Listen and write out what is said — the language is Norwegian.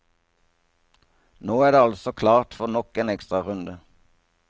Nå er det altså klart for nok en ekstrarunde.